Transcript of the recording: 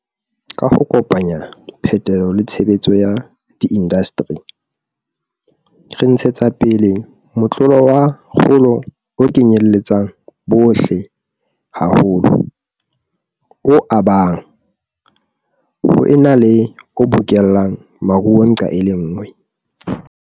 Ka ho kopanya phetolo le tshebetso ya diindasteri, re ntshetsa pele motlolo wa kgolo o kenyeletsang bohle haholo, o abang, ho ena le o bokellang maruo nqa e le nngwe.